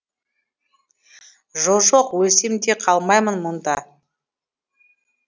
жо жоқ өлсем де қалмаймын мұнда